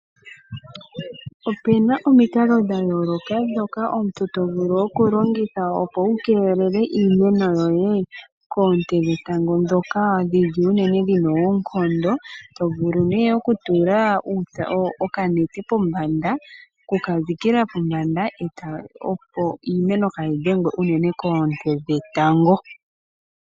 Ope na omikalo dha yooloka ndhoka omuntu to vulu unene okulongitha opo wu kelele iimeno yoye koonte dhetango, ndhoka dhili unene dhina oonkondo. To vulu nee okutula okanete pombanda, okuka dhikila pombanda opo iimeno kayi dhengwe unene koonte dhetango.